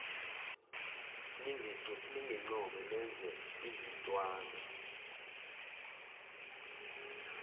ningincome nenze izintwana